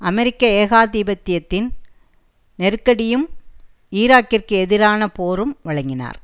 அமெரிக்க ஏகாதிபத்தியத்தின் நெருக்கடியும் ஈராக்கிற்கு எதிரான போரும் வழங்கினார்